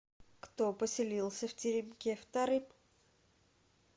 кто поселился в теремке вторым